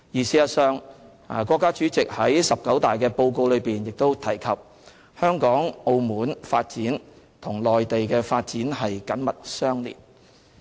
事實上，國家主席在中國共產黨第十九次全國代表大會的報告中亦提及"香港、澳門發展同內地發展緊密相連。